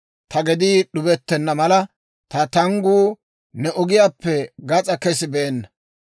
Ta gedii d'ubettenna mala, ta tangguu ne ogiyaappe gas'aa kesibeenna.